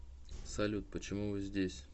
салют почему вы здесь